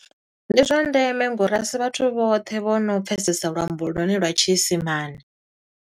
Ndi zwa ndeme ngo uri a si vhathu vhoṱhe vho no pfesesa luambo lwone lwa tshiisimane.